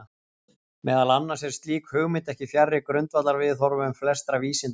Meðal annars er slík hugmynd ekki fjarri grundvallarviðhorfum flestra vísinda.